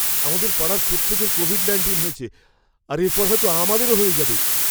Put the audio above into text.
আমাদের পাড়ার প্রত্যেকের কোভিড নাইনটিন হয়েছে, আর এরপর হয়তো আমাদেরও হয়ে যাবে।